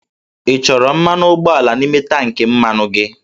Ị chọrọ mmanụ ụgbọala n'ime tankị mmanụ gị?